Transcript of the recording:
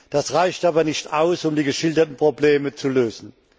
Das reicht aber nicht aus, um die geschilderten Probleme zu lösen.